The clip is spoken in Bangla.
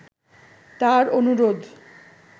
তার অনুরোধ